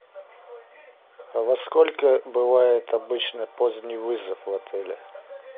во сколько бывает обычно поздний вызов в отеле